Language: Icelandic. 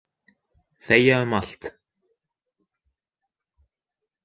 Þegja um allt.